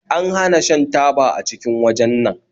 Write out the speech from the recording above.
An hana shan taba a cikin wajen nan